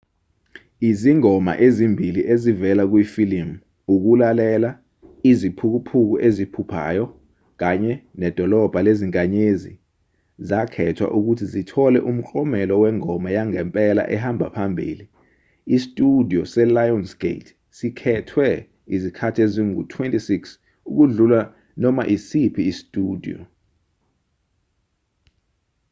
izingoma ezimbili ezivela kuyifilimu ukulalela iziphukuphuku eziphuphayo kanye nedolobha lezinkanyezi zakhethwa ukuthi zithole umklomelo wengoma yangempela ehamba phambili. isitshudiyo se-lionsgate sikhethwe izikhathi ezingu-26 — ukudlula noma esiphi isitshudiyo